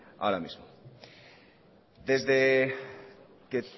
ahora mismo desde que